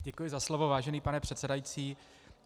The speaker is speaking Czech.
Děkuji za slovo, vážený pane předsedající.